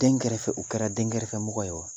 Den kɛrɛfɛ u kɛra den kɛrɛfɛmɔgɔ ye wa